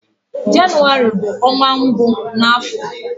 Jenụwarị bu onwa mbu n'afo.